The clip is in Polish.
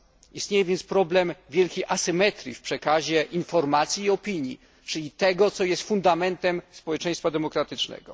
Istnieje więc problem wielkiej asymetrii w przekazie informacji i opinii, czyli tego co jest fundamentem społeczeństwa demokratycznego.